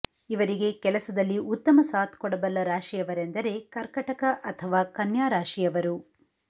ಇವರಿಗೆ ಕೆಲಸದಲ್ಲಿ ಉತ್ತಮ ಸಾಥ್ ಕೊಡಬಲ್ಲ ರಾಶಿಯವರೆಂದರೆ ಕರ್ಕಟಕ ಅಥವಾ ಕನ್ಯಾ ರಾಶಿಯವರು